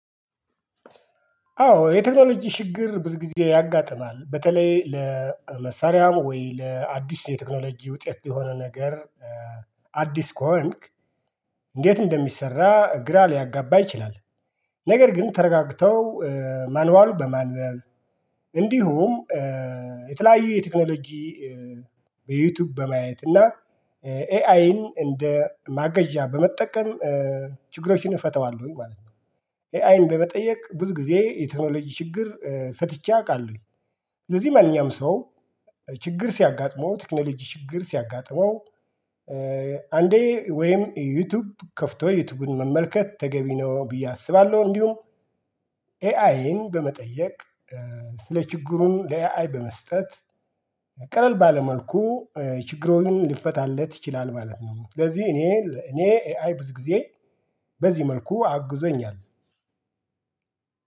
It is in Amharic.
አዎ የቴክኖሎጂ ችግር ብዙ ጊዜ ያጋጥማል በተለይ ለመሳሪያም ወይ ለአዲስ የቴክኖሎጂ ውጤት የሆነ ነገር አዲስ ከሆንክ እንዴት እንደሚሰራ ግራ ሊያጋባህ ይችላል ነገር ግን ተረጋግተው ማኑዋሉ በማንበብ እንዲሁም የተለያዩ የቴክኖሎጂ በዩቲዩብ በማየት እና ኤአይን እንደ ማገዣ በመጠቀም ችግሮችን እፈተዋለሁኝ ማለት ነው። ኤአይን በመጠየቅ ብዙ ጊዜ የቴክኖሎጂ ችግር ፈትቼ አውቃለሁ። ስለዚህ ማንኛውም ሰው ችግር ሲያጋጥመው ቴክኖሎጂ ችግር ሲያጋጥመው አንዴ ወይም ዩቲዩብ ከፍቶ ዩቲዩብን መመልከት ተገቢ ነው ብዬ አስባለሁ። እንዲሁም ኤአይን በመጠየቅ ስለ ችግሩም ለኤዕይ በመስጠት ቀለል ባለ መልኩ ችግሮን ልፈታለት ይችላል ማለት ነው። ስለዚህ እኔ እኔ ኤአይ ብዙ ጊዜ በዚህ መልኩ አግዞኛል።